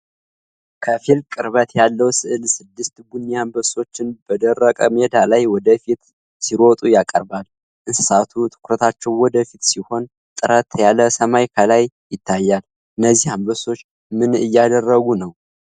ከፊል ቅርበት ያለዉ ሥዕል ስድስት ቡኒ አንበሶችን በደረቅ ሜዳ ላይ ወደ ፊት ሲሮጡ ያቀርባል። እንስሳቱ ትኩረታቸዉ ወደ ፊት ሲሆን ጥርት ያለ ሰማይ ከላይ ይታያል። እነዚህ አንበሶች ምን እያደረጉ ነው?